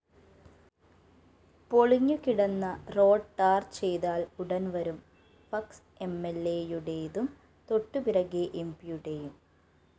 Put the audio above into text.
പൊളിഞ്ഞുകിടന്ന road ടാര്‍ചെയ്താല്‍ ഉടന്‍വരും flex എംഎല്‍എയുടേതും തൊട്ടുപിറകെ എംപിയുടെയും